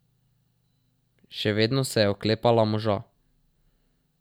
Še vedno se je oklepala moža.